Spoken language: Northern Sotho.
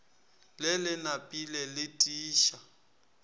le le napile le tiiša